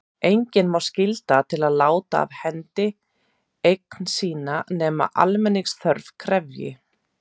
Engan má skylda til að láta af hendi eign sína nema almenningsþörf krefji.